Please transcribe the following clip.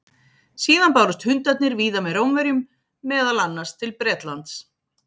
Síðan bárust hundarnir víða með Rómverjum, meðal annars til Bretlands.